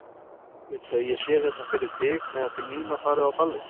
Viltu að ég sé hérna fyrir þig á meðan þið Nína farið á ballið?